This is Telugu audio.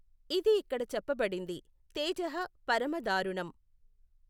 ఇది ఇక్కడ చెప్పబడింది తేజః పరమ దారుణం.